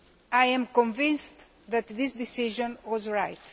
I am convinced that this decision was right.